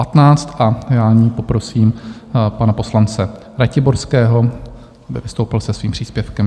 A já nyní poprosím pana poslance Ratiborského, aby vystoupil se svým příspěvkem.